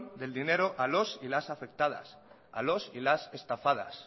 del dinero a los y las afectadas a los y las estafadas